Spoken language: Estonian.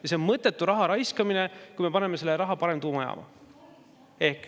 Ja see on mõttetu raha raiskamine, paneme selle raha parem tuumajaama.